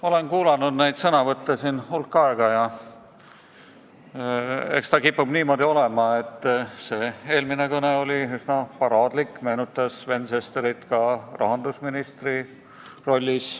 Olen hulk aega neid sõnavõtte siin kuulanud ja eks ta kipub niimoodi olema, et eelmine kõne oli üsna paraadlik, meenutas Sven Sesterit rahandusministri rollis.